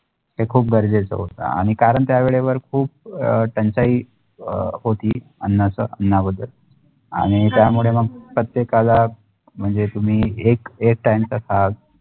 ते खुप गरजेचे होता आणि कारण त्या वेळे वर खुप तण्टच्याई होती अननस अनावजक आणि त्या मुळे प्रत्येकाला म्णजे तुम्ही एक एक time खाता